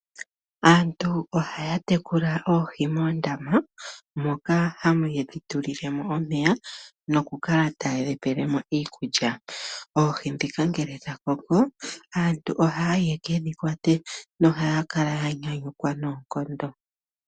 Aantu ohaya tekula oohi moondama moka haye dhi tulile mo omeya nokukala taye dhi pele mo iikulya. Oohi ndhika ngele dha koko aantu ohaya yi yeke dhi kwate nohaya kala ya nyanyukwa noonkondo.